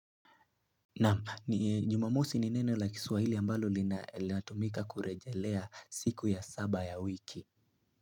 Naam ni jumamosi ni neno la kiswahili ambalo linatumika kurejelea siku ya saba ya wiki.